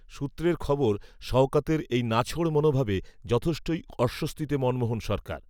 সূত্রের খবর, শওকতের, এই নাছোড় মনোভাবে, যথেষ্টই, অস্বস্তিতে মনমোহন সরকার